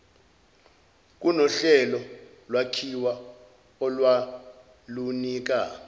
kunohlelo lwakhiwa olwalunika